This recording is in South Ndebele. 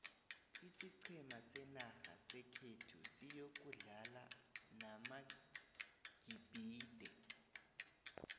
isiqhema senarha sekhethu siyokudlala namagibhide